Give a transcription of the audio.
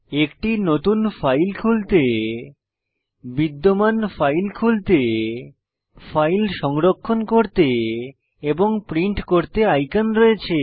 একটি নতুন ফাইল খুলতে বিদ্যমান ফাইল খুলতে ফাইল সংরক্ষণ করতে এবং প্রিন্ট করতে আইকন রয়েছে